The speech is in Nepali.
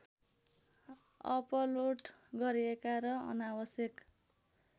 अपलोड गरेका र अनावश्यक